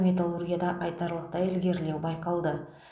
металлургияда айтарлықтай ілгерілеу байқалды